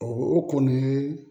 O kɔni